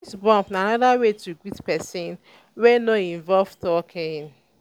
fist bump na anoda way to greet person wey no involve talking